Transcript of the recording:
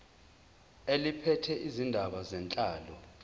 eliphethe izindaba zenhlalo